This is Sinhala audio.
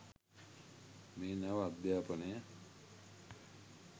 මේ නව අධ්‍යාපනය